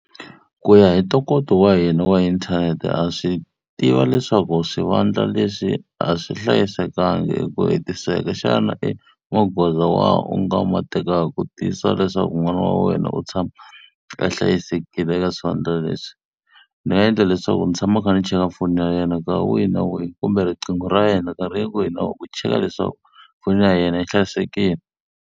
Ku ya hi ntokoto wa hina wa inthanete, ha swi tiva leswaku swivandla leswi a swi hlayisekangi hi ku hetiseka. Xana i magoza wa hi u nga ma tekaka ku tiyisisa leswaku n'wana wa wena u tshama a hlayisekile eka swivandla leswi? Ndzi nga endla leswaku ndzi tshama kha ni cheka foni ya yena nkarhi wihi na wihi, kumbe riqingho ra yena nkarhi wihi na wihi ku cheka leswaku foni ya yena yi hlayisekile.